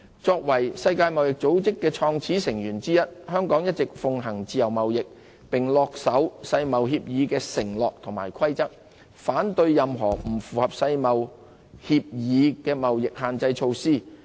作為世界貿易組織創始成員之一，香港一直奉行自由貿易，恪守世貿協議的承諾和規則，反對任何不符合世貿協議的貿易限制措施。